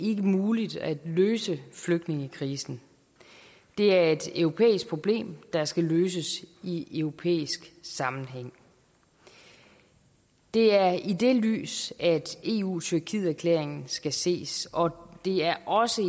muligt at løse flygtningekrisen det er et europæisk problem der skal løses i europæisk sammenhæng det er i det lys eu tyrkiet erklæringen skal ses og det er også i